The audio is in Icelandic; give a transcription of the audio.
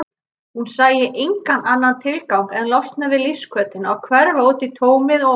Hún sæi engan annan tilgang en losna við lífshvötina og hverfa útí tómið og óminnið.